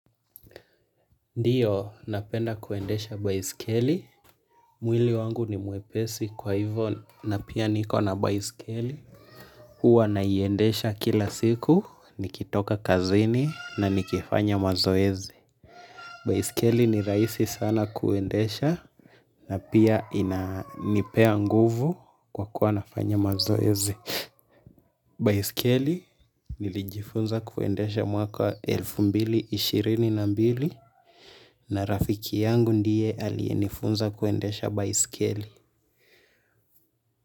Ndiyo, napenda kuendesha baisikeli. Mwili wangu ni mwepesi kwa hivyo na pia niko na baisikeli. Huwa naiendesha kila siku, nikitoka kazini na nikifanya mazoezi. Baisikeli ni rahisi sana kuendesha na pia inanipea nguvu kwa kuwa nafanya mazoezi. Baisikeli nilijifunza kuendesha mwaka wa elfu mbili ishirini na na mbili na rafiki yangu ndiye aliyenifunza kuendesha baisikeli.